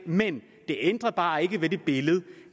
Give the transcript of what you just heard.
men det ændrer bare ikke ved det billede